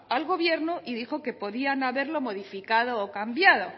al gobierno y dijo que podían haberlo modificado o cambiado